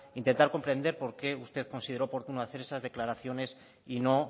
intentar comprender por qué usted consideró oportuno hacer esas declaraciones y no